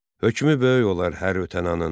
Hökmü böyük olar hər ötən anın.